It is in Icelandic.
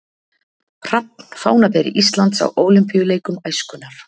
Hrafn fánaberi Íslands á Ólympíuleikum æskunnar